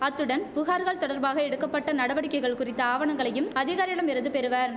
அத்துடன் புகார்கள் தொடர்பாக எடுக்க பட்ட நடவடிக்கைகள் குறித்த ஆவணங்களையும் அதிகாரியிடம் இருந்து பெறுவர்